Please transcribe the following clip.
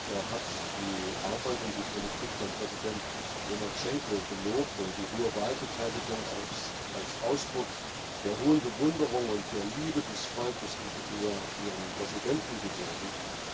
Er hat die Arbeit und die Politik von Präsident Lukaschenka gelobt und die hohe Wahlbeteiligung als Ausdruck der hohen Bewunderung und der Liebe des Volkes gegenüber seinem Präsidenten gewürdigt.